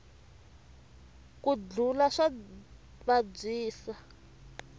ku dlula swa vabyisa